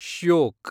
Shyok